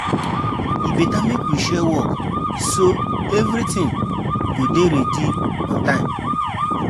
E better make we share work, so everything go dey ready on time.